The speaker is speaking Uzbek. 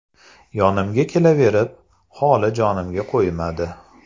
Yonimga kelaverib, holi jonimga qo‘ymadi.